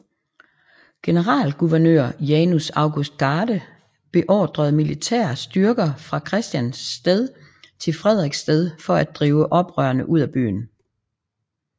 Generalguvernør Janus August Garde beordrede militære styrker fra Christiansted til Frederiksted for at drive oprørerne ud af byen